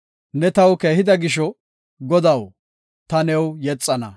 Ne taw keehida gisho, Godaw, ta new yexana.